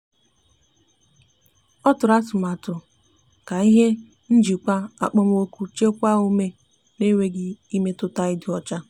ọ tụrụ atụmatụ ahụ ka ihe njikwa okpomọku chekwaa ume na enweghi imetụta idi ọcha